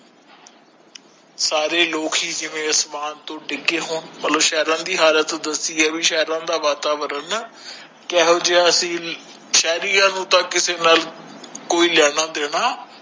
ਸਾਰੇ ਲੋਕ ਹੀ ਜਿਵੇਂ ਅਸਮਾਨ ਤੋਂ ਡਿੱਗੇ ਹੋ ਮਤਲਬ ਸਹਿਰਯਾ ਦੀ ਹਾਲਤ ਦਸੀ ਹੈ ਵੀ ਸਹਿਰਯਾ ਦਾ ਵਾਤਾਵਰਣ ਨਾ ਕੇਹਾ ਜੇਹਾ ਸੀ ਸ਼ੇਰੀਆਂ ਨੂੰ ਤਾ ਕਿਸੀ ਨਾਲ ਕੋਈ ਲੈਣਾ ਦੇਣਾ